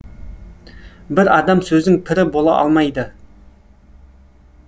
бір адам сөздің пірі бола алмайды